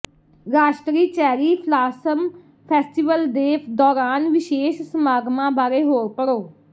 ਰਾਸ਼ਟਰੀ cherry blossom festival ਦੇ ਦੌਰਾਨ ਵਿਸ਼ੇਸ਼ ਸਮਾਗਮਾਂ ਬਾਰੇ ਹੋਰ ਪੜ੍ਹੋ